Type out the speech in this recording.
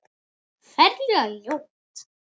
Ferlega ljót.